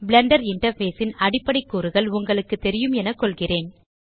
Blender interface ன் அடிப்படை கூறுகள் உங்களுக்கு தெரியும் என கொள்கிறேன்